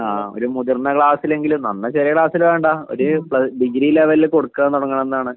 ആ ഒരു മുതിർന്ന ക്ലാസ്സിലെങ്കിലും നന്നേ ചെറിയ ക്ലാസില് വേണ്ട ഒരു പ്ല ഡിഗ്രി ലെവലില് കൊടുക്കാൻ തുടങ്ങണംന്നാണ്